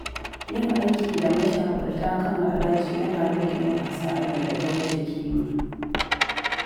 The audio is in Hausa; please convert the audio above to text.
Yin aiki da mashawarta kan haraji yana rage yin hasarar da ta wuce kima.